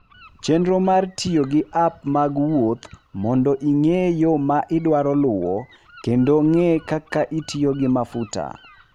Chenro mar tiyo gi app mag wuoth mondo ing'e yo ma idwaro luwo kendo ng'e kaka itiyo gi mafuta.